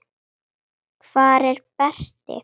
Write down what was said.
Hvar er Berti?